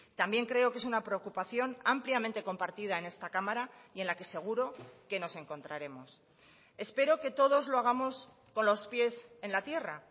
también creo que es una preocupación ampliamente compartida en esta cámara y en la que seguro que nos encontraremos espero que todos lo hagamos con los pies en la tierra